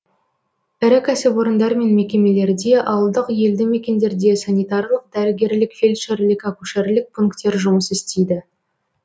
ірі кәсіпорындар мен мекемелерде ауылдық елді мекендерде санитарлық дәрігерлік фельдшерлік акушерлік пунктер жұмыс істейді